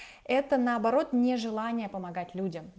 это наоборот не желание помогать людям